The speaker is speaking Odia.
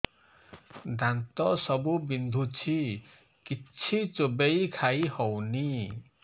ଦାନ୍ତ ସବୁ ବିନ୍ଧୁଛି କିଛି ଚୋବେଇ ଖାଇ ହଉନି